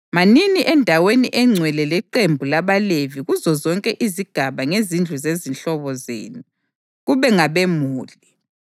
Manini endaweni engcwele leqembu labaLevi kuzozonke izigaba ngezindlu zezihlobo zenu, kube ngabemuli.